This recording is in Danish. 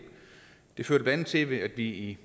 det førte blandt andet til at vi i